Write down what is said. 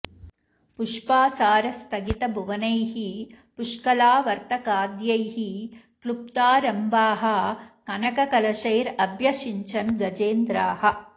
पुष्पासार स्थगित भुवनैः पुष्कलावर्तकाद्यैः कॢप्तारम्भाः कनक कलशैरभ्यषिञ्चन् गजेन्द्राः